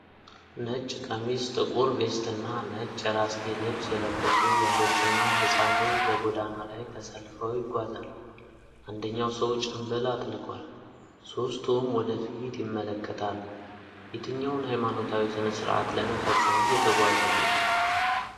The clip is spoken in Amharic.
ነጭ ቀሚስ፣ ጥቁር ቬስትና ነጭ የራስጌ ልብስ የለበሱ ወንዶችና ህጻን ልጅ በጎዳና ላይ ተሰልፈው ይጓዛሉ። አንደኛው ሰው ጭምብል አጥልቋል፤ ሦስቱም ወደ ፊት ይመለከታሉ። የትኛውን ሃይማኖታዊ ሥነ ስርዓት ለመፈጸም እየተጓዙ ነው?